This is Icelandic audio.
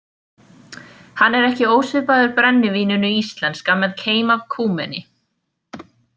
Hann er ekki ósvipaður brennivíninu íslenska með keim af kúmeni.